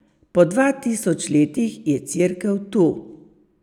Po dva tisoč letih je Cerkev tu.